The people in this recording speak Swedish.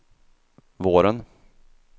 våren